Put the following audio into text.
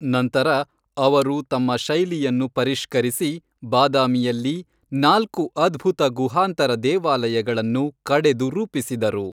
ನಂತರ ಅವರು ತಮ್ಮ ಶೈಲಿಯನ್ನು ಪರಿಷ್ಕರಿಸಿ ಬಾದಾಮಿಯಲ್ಲಿ ನಾಲ್ಕು ಅದ್ಭುತ ಗುಹಾಂತರ ದೇವಾಲಯಗಳನ್ನು ಕಡೆದು ರೂಪಿಸಿದರು.